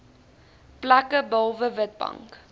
plekke behalwe witbank